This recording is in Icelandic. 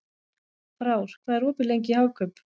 Frár, hvað er opið lengi í Hagkaup?